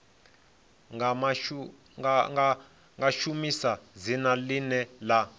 nga shumisa dzina ḽine ḽa